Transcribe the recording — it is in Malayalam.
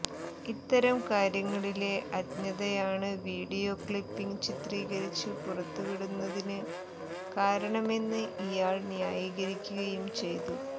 ഇത്തരം കാര്യങ്ങളിലെ അജ്ഞതയാണ് വീഡിയോ ക്ലിപ്പിംഗ് ചിത്രീകരിച്ച് പുറത്തുവിടുന്നതിന് കാരണമെന്ന് ഇയാൾ ന്യായീകരിക്കുകയും ചെയ്തു